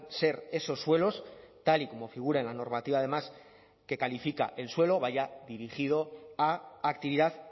ser esos suelos tal y como figura en la normativa además que califica el suelo vaya dirigido a actividad